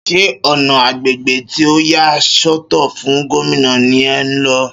Ṣé ọ̀na agbègbè tí a yà sọ́tọ̀ fún Gómìnà ní è ńlọ